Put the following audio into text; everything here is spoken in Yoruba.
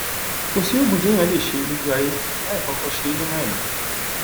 kò sí ogún tí èèyàn lè ṣe lójúayé láì kọkọ ṣe é nínú ẹmí